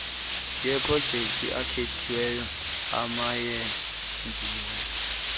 yeprojekthi ekhethiweyo emayenziwe